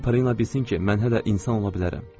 Qoy Pariya bilsin ki, mən hələ insan ola bilərəm.